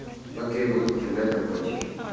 окей буду употреблять наркотики